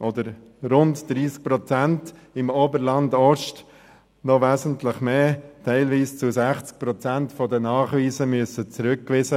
oder rund 30 Prozent, im Oberland-Ost wesentlich mehr, teilweise bis 60 Prozent der Nachweise zurückgewiesen.